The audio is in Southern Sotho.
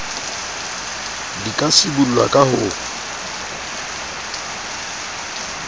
di ka sibollwa ka ho